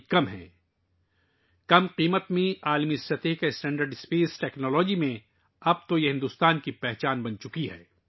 خلائی ٹیکنالوجی میں، کم قیمت پر عالمی درجے کا معیار، اب بھارت کی پہچان بن گیا ہے